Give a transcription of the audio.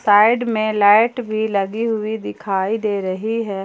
Side में light भी लगी हुई दिखाई दे रही है।